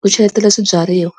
ku cheletela swibyariwa.